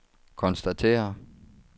konstatere